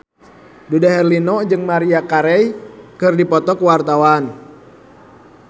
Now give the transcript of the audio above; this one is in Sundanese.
Dude Herlino jeung Maria Carey keur dipoto ku wartawan